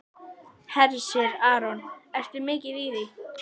Hersir Aron: Ertu mikið í því?